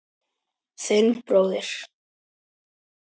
Þinn bróðir